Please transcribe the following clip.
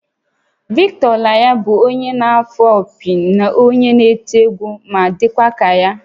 Victor Olaiya bụ onye na-afụ opi na onye eti egwu, m ga-adịkwa ka ya